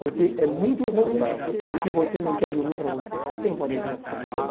Porque é muito ruim e o que você não quer de ruim para você, você não pode desejar para o seu próximo.